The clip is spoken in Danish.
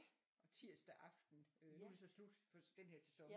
Tirsdag aften øh nu det så slut for den her sæson